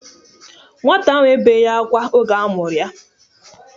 Nwata ahụ ebeghi akwa oge amuru ya